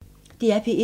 DR P1